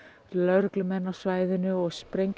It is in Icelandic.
lögreglumenn á svæðinu og